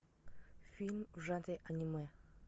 фильм в жанре аниме